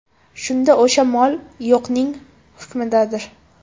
Shunda o‘sha mol yo‘qning hukmidadir.